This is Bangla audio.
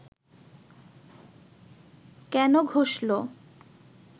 কেন ঘষল